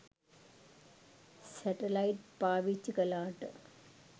satellite පාවිච්චි කලාට